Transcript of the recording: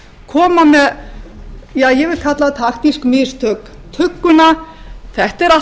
koma með ja ég vil kalla það taktísk mistök tugguna þetta er allt í boði framsóknar